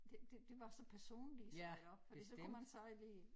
Det det det var så personligt sagde jeg fordi så kunne man så lige